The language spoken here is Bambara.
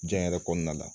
Diɲɛ yɛrɛ kɔnɔna la